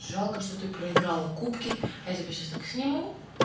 жалко что ты проиграла кубки а я тебя сейчас так сниму